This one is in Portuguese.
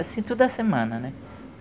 Assim, toda semana, né?